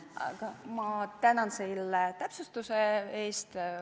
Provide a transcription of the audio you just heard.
Aga ma tänan selle täpsustuse eest.